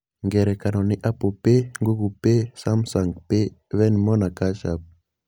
Ngerekano nĩ Apple Pay, Google Pay, Samsung Pay, Venmo, na CashApp.